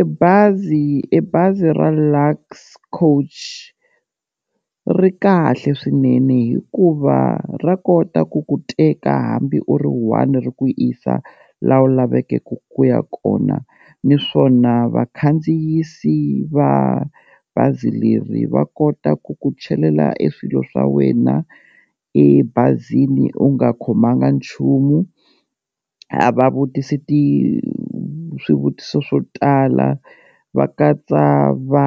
E bazi e bazi ra Lux coach ri kahle swinene hikuva ra kota ku ku teka hambi u ri one ri ku yisa laha u laveke ku ya kona, niswona vakhandziyisi va bazi leri va kota ku ku chelela e swilo swa wena ebazini u nga khomanga nchumu, a va vutisi ti swivutiso swo tala va katsa va